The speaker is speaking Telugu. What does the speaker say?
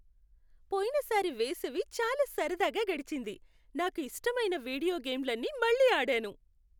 పోయినసారి వేసవి చాలా సరదాగా గడిచింది. నాకు ఇష్టమైన వీడియో గేమ్లన్నీ మళ్లీ ఆడాను.